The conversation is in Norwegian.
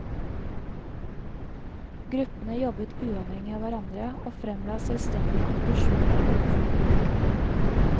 Gruppene jobbet uavhengig av hverandre og fremla selvstendige konklusjoner overfor politikerne.